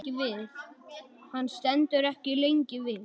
Hann stendur ekki lengi við.